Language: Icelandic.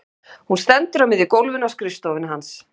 Hún stendur á miðju gólfinu á skrifstofunni hans.